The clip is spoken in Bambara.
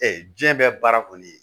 diɲɛ bɛɛ baara kɔni ye